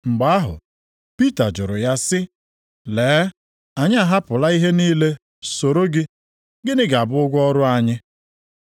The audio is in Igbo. Mgbe ahụ Pita jụrụ ya sị, “Lee, anyị ahapụla ihe niile soro gị, gịnị ga-abụ ụgwọ ọrụ anyị?”